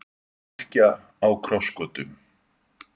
Kirkja á krossgötum